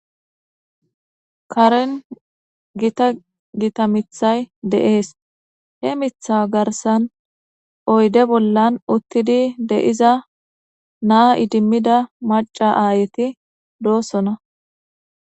karen gita gita mithay deees he mitha garsan oyde bollan uttidi de7iza naa idimmida maca aayeti doossona